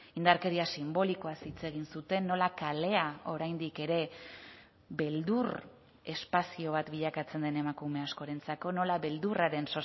indarkeria sinbolikoaz hitz egin zuten nola kalea oraindik ere beldur espazio bat bilakatzen den emakume askorentzako nola beldurraren